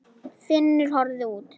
Finnur horfði út.